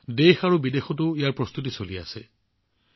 তাৰ বাবে দেশ আৰু বিদেশতো প্ৰস্তুতি চলি আছে